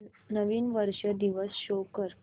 नवीन वर्ष दिवस शो कर